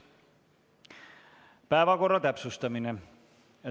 Päevakorra täpsustamine.